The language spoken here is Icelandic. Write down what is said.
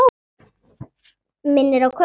Minnir á kött.